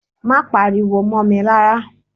Má pariwo mó mi rárá.